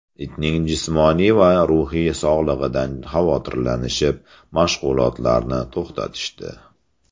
Itning jismoniy va ruhiy sog‘lig‘idan xavotirlanishib mashg‘ulotarni to‘xtatishdi.